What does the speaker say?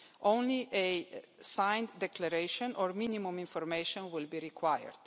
Only a signed declaration or minimum information will be required.